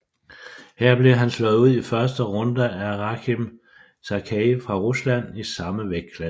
Her blev han slået ud i første runde af Rakhim Chakhkiev fra Rusland i samme vægtklasse